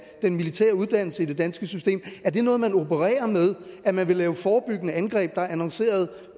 den militære uddannelse i det danske system er det noget man opererer med at man vil lave forebyggende angreb der er annonceret